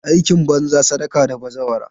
Aikin banza, sadaka da bazawara.